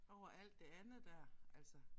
Over alt det andet der altså